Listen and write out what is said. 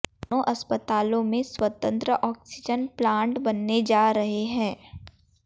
दोनों अस्पतालों में स्वतंत्र ऑक्सीजन प्लांट बनने जा रहे हैं